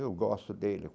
Eu gosto dele.